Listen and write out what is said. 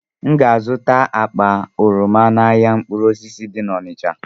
M ga-azụta akpa oroma n'ahịa mkpụrụ osisi dị na Onịcha.